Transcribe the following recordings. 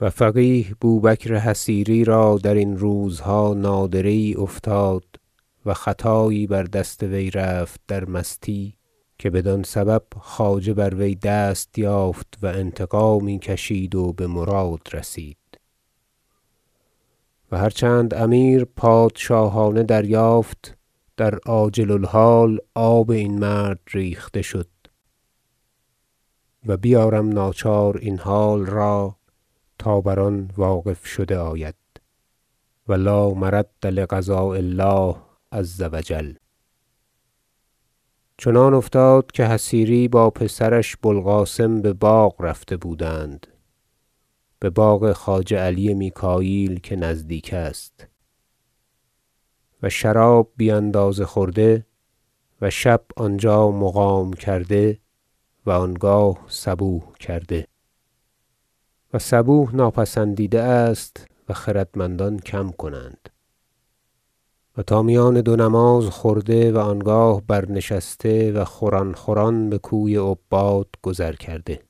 و فقیه بو بکر حصیری را درین روزها نادره یی افتاد و خطایی بر دست وی رفت در مستی که بدان سبب خواجه بر وی دست یافت و انتقامی کشید و بمراد رسید و هرچند امیر پادشاهانه دریافت در عاجل الحال آب این مرد ریخته شد و بیارم ناچار این حال را تا بر آن واقف شده آید و لا مرد لقضاء الله عزوجل چنان افتاد که حصیری با پسرش بو القاسم بباغ رفته بودند بباغ خواجه علی میکاییل که نزدیک است و شراب بی اندازه خورده و شب آنجا مقام کرده و انگاه صبوح کرده- و صبوح ناپسندیده است و خردمندان کم کنند- و تا میان دو نماز خورده و آنگاه برنشسته و خوران خوران بکوی عباد گذر کرده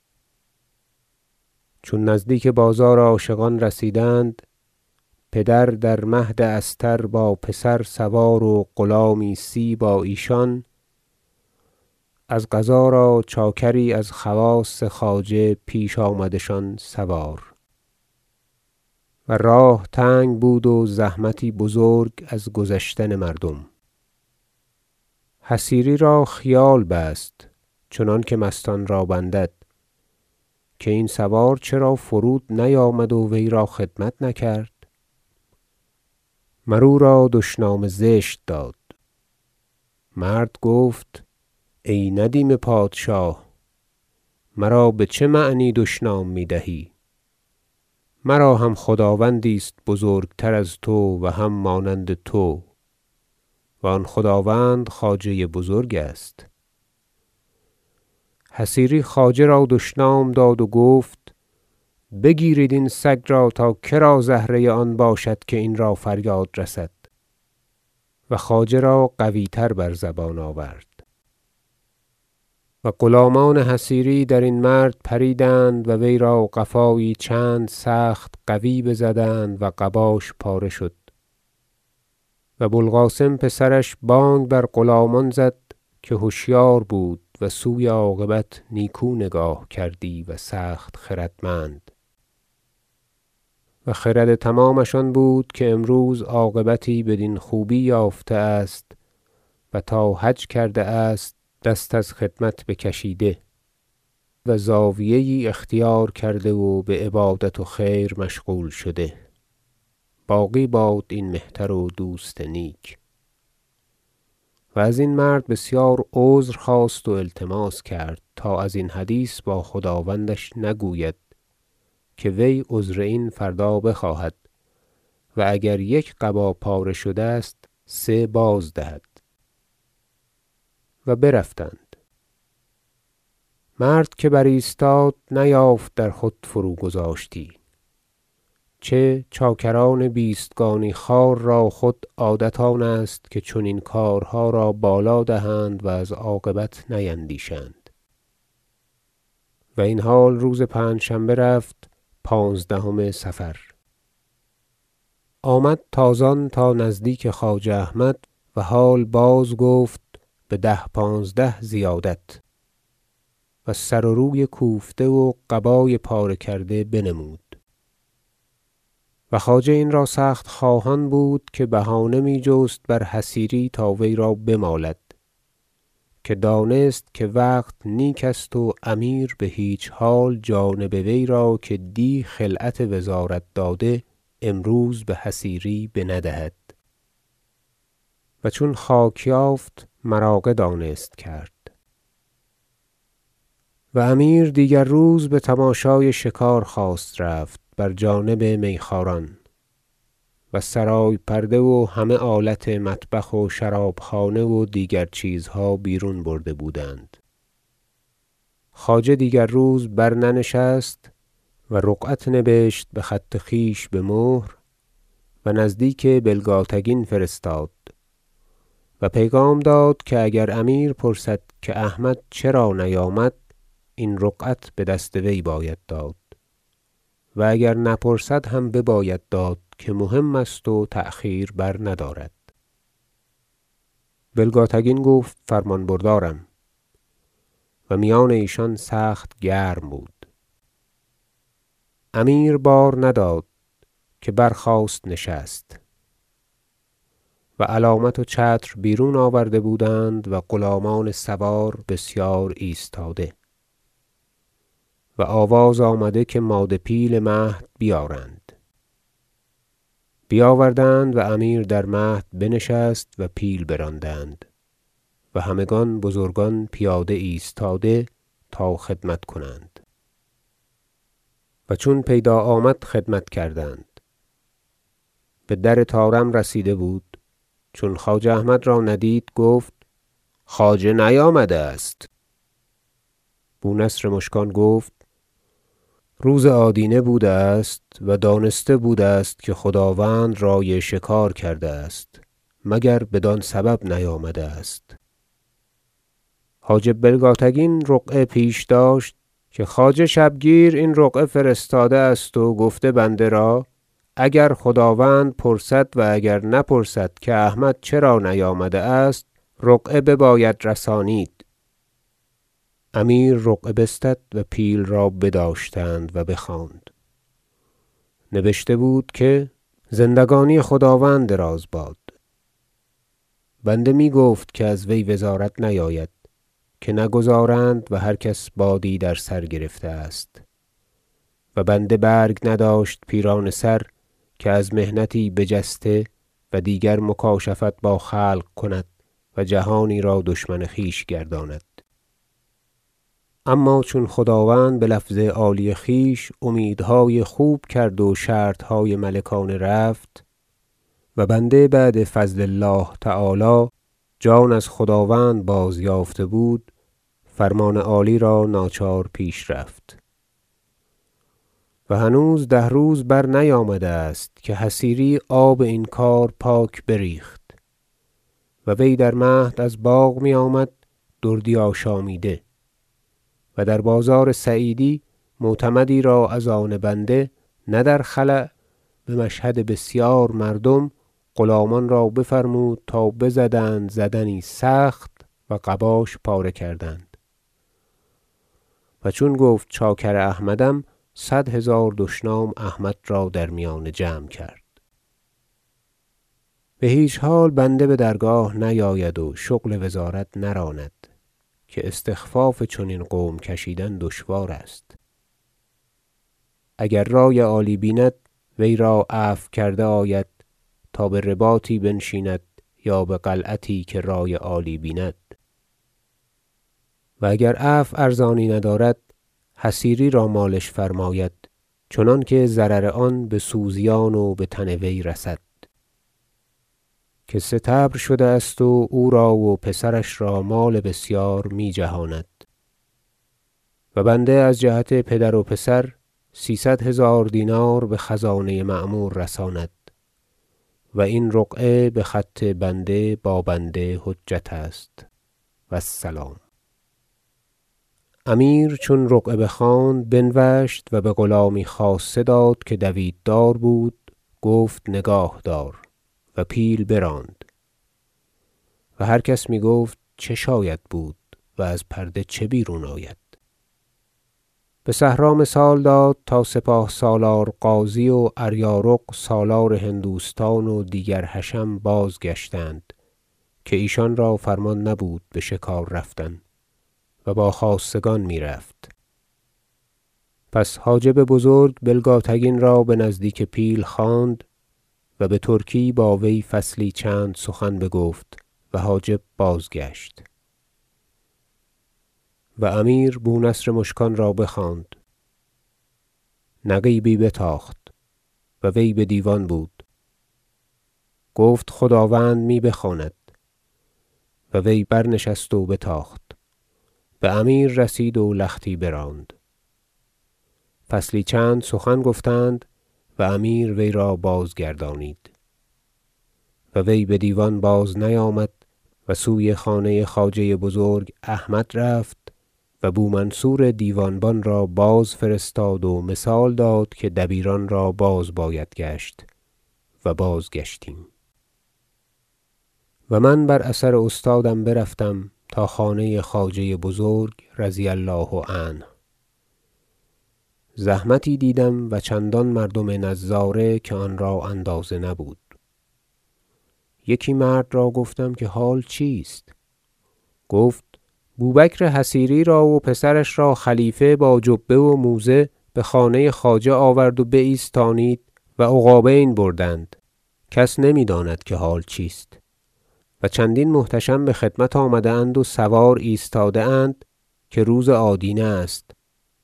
چون نزدیک بازار عاشقان رسیدند پدر در مهد استر با پسر سوار و غلامی سی با ایشان از قضا را چاکری از خواص خواجه پیش آمدشان سوار و راه تنگ بود و زحمتی بزرگ از گذشتن مردم حصیری را خیال بست چنانکه مستان را بندد که این سوار چرا فرود نیامد و وی را خدمت نکرد مر او را دشنام زشت داد مرد گفت ای ندیم پادشاه مرا بچه معنی دشنام میدهی مرا هم خداوندی است بزرگتر از تو و هم مانند تو و آن خداوند خواجه بزرگ است حصیری خواجه را دشنام داد و گفت بگیرید این سگ را تا کرا زهره آن باشد که این را فریاد رسد و خواجه را قوی تر بر زبان آورد و غلامان حصیری درین مرد پریدند و وی را قفایی چند سخت قوی بزدند و قباش پاره شد و بو القاسم پسرش بانگ بر غلامان زد که هشیار بود و سوی عاقبت نیکو نگاه کردی و سخت خردمند و خرد تمامش آن بود که امروز عاقبتی بدین خوبی یافته است و تا حج کرده است دست از خدمت بکشیده و زاویه یی اختیار کرده و بعبادت و خیر مشغول شده باقی باد این مهتر و دوست نیک- و ازین مرد بسیار عذر خواست و التماس کرد تا از این حدیث با خداوندش نگوید که وی عذر این فردا بخواهد و اگر یک قبا پاره شده است سه بازدهد و برفتند مرد که برایستاد نیافت در خود فروگذاشتی چه چاکران بیستگانی خوار را خود عادت آن است که چنین کارها را بالا دهند و از عاقبت نیندیشند- و این حال روز پنجشنبه رفت پانزدهم صفر- آمد تازان تا نزدیک خواجه احمد و حال بازگفت بده پانزده زیادت و سر و روی کوفته و قبای پاره کرده بنمود و خواجه این را سخت خواهان بود که بهانه می جست بر حصیری تا وی را بمالد که دانست که وقت نیک است و امیر بهیچ حال جانب وی را که دی خلعت وزارت داده امروز بحصیری بندهد و چون خاک یافت مراغه دانست کرد و امیر دیگر روز بتماشای شکار خواست رفت بر جانب میخواران و سرای پرده و همه آلت مطبخ و شراب خانه و دیگر چیزها بیرون برده بودند خواجه دیگر روز برننشست و رقعت نبشت بخط خویش بمهر و نزدیک بلگاتگین فرستاد و پیغام داد که اگر امیر پرسد که احمد چرا نیامد این رقعت بدست وی باید داد و اگر نپرسد هم بباید داد که مهم است و تأخیر برندارد بلگاتگین گفت فرمان بردارم و میان ایشان سخت گرم بود امیر بار نداد که برخواست نشست و علامت و چتر بیرون آورده بودند و غلامان سوار بسیار ایستاده و آواز آمد که ماده پیل مهد بیارند بیاوردند و امیر در مهد بنشست و پیل براندند و همگان بزرگان پیاده ایستاده تا خدمت کنند و چون پیدا آمد خدمت کردند بدر طارم رسیده بود چون خواجه احمد را ندید گفت خواجه نیامده است بو نصر مشکان گفت روز آدینه بوده است و دانسته بوده است که خداوند رأی شکار کرده است مگر بدان سبب نیامده است حاجب بلگاتگین رقعه پیش داشت که خواجه شبگیر این رقعه فرستاده است و گفته است بنده را اگر خداوند پرسد و اگر نپرسد که احمد چرا نیامده است رقعه بباید رسانید امیر رقعه بستد و پیل را بداشتند و بخواند نبشته بود که زندگانی خداوند دراز باد بنده می گفت که از وی وزارت نیاید که نگذارند و هر کس بادی در سر گرفته است و بنده برگ نداشت پیرانه سر که از محنتی بجسته و دیگر مکاشفت با خلق کند و جهانی را دشمن خویش گرداند اما چون خداوند بلفظ عالی خویش امیدهای خوب کرد و شرطهای ملکانه رفت و بنده بعد فضل الله تعالی جان از خداوند بازیافته بود فرمان عالی را ناچار پیش رفت و هنوز ده روز برنیامده است که حصیری آب این کار پاک بریخت و وی در مهد از باغ میآمد دردی آشامیده و در بازار سعیدی معتمدی را از آن بنده نه در خلأ بمشهد بسیار مردم غلامان را بفرمود تا بزدند زدنی سخت و قباش پاره کردند و چون گفت چاکر احمدم صد هزار دشنام احمد را در میان جمع کرد بهیچ حال بنده بدرگاه نیاید و شغل وزارت نراند که استخفاف چنین قوم کشیدن دشوار است اگر رأی عالی بیند وی را عفو کرده آید تا برباطی بنشیند یا بقلعتی که رأی عالی بیند و اگر عفو ارزانی ندارد حصیری را مالش فرماید چنانکه ضرر آن بسوزیان و بتن وی رسد که سطبر شده است و او را و پسرش را مال بسیار می جهاند و بنده از جهت پدر و پسر سیصد هزار دینار بخزانه معمور رساند و این رقعه بخط بنده با بنده حجت است و السلام امیر چون رقعه بخواند بنوشت و بغلامی خاصه داد که دویت دار بود گفت نگاه دار و پیل براند و هر کس میگفت چه شاید بود و از پرده چه بیرون آید بصحرا مثال داد تا سپاه سالار غازی و اریارق سالار هندوستان و دیگر حشم باز گشتند که ایشان را فرمان نبود بشکار رفتن- و با خاصگان میرفت- پس حاجب بزرگ بلگاتگین را بنزدیک پیل خواند و بترکی با وی فصلی چند سخن بگفت و حاجب بازگشت و امیر بو نصر مشکان را بخواند نقیبی بتاخت و وی بدیوان بود گفت خداوند می بخواند و وی برنشست و بتاخت بامیر رسید و لختی براند فصلی چند سخن گفتند و امیر وی را بازگردانید و وی بدیوان بازنیامد و سوی خانه خواجه بزرگ احمد رفت و بو منصور دیوان بان را بازفرستاد و مثال داد که دبیران را باز باید گشت و بازگشتیم و من بر اثر استادم برفتم تا خانه خواجه بزرگ رضی الله عنه زحمتی دیدم و چندان مردم نظاره که آن را اندازه نبود یکی مرد را گفتم که حال چیست گفت بو بکر حصیری را و پسرش را خلیفه با جبه و موزه بخانه خواجه آورد و بایستانید و عقابین بردند کس نمیداند که حال چیست و چندین محتشم بخدمت آمده اند و سوار ایستاده اند که روز آدینه است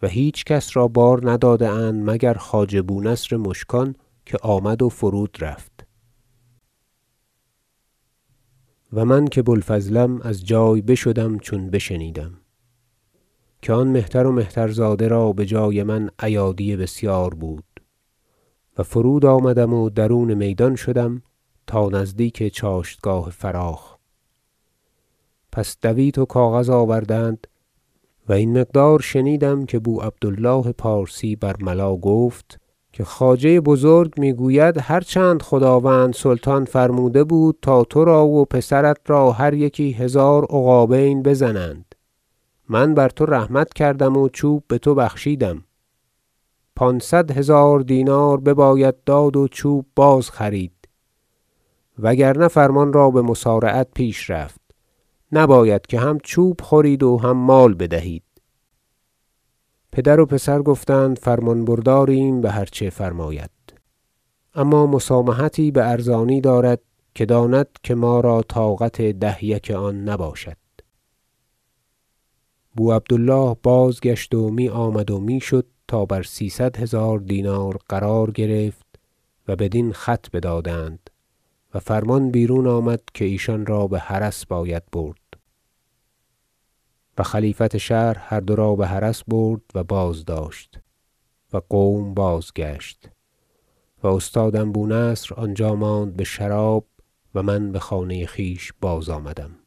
و هیچ کس را بار نداده اند مگر خواجه بو نصر مشکان که آمد و فرود رفت و من که بو الفضلم از جای بشدم چون بشنیدم که آن مهتر و مهترزاده را بجای من ایادی بسیار بود و فرود آمدم و درون میدان شدم و ببودم تا نزدیک چاشتگاه فراخ پس دویت و کاغذ آوردند و این مقدار شنیدم که بو عبد الله پارسی برملا گفت که خواجه بزرگ میگوید هرچند خداوند سلطان فرموده بود تا ترا و پسرت را هر یکی هزار عقابین بزنند من بر تو رحمت کردم و چوب بتو بخشیدم پانصد هزار دینار بباید داد و چوب باز خرید و اگر نه فرمان را بمسارعت پیش رفت نباید که هم چوب خورید و هم مال بدهید پدر و پسر گفتند فرمان برداریم بهرچه فرماید اما مسامحتی بارزانی دارد که داند که ما را طاقت ده یک آن نباشد بو عبد الله بازگشت و میآمد و میشد تا بر سیصد هزار دینار قرار گرفت و بدین خط بدادند و فرمان بیرون آمد که ایشانرا بحرس باید برد و خلیفت شهر هر دو را بحرس برد و بازداشت و قوم بازگشت و استادم بو نصر آنجا ماند بشراب و من بخانه خویش بازآمدم